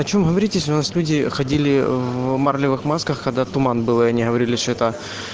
о чем говорить если у нас люди ходили в марлевых масках когда туман были и они говорили что то